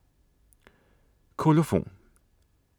Kolofon